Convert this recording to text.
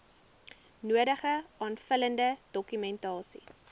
nodige aanvullende dokumentasie